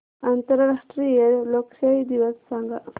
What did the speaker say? आंतरराष्ट्रीय लोकशाही दिवस सांगा